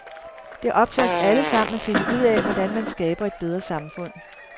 Det er op til os alle sammen, at finde ud af, hvordan man skaber et bedre samfund.